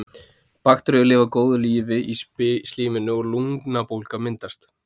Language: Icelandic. Bakteríur lifa góðu lífi í slíminu og lungnabólga myndast.